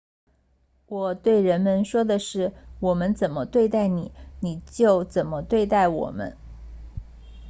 我对人们说的是我们怎么对待你你就怎么对待我们